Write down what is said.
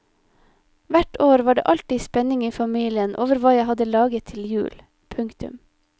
Hvert år var det alltid spenning i familien over hva jeg hadde laget til jul. punktum